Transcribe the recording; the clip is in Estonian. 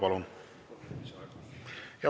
Palun!